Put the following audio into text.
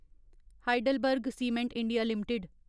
HeidelbergCement India limited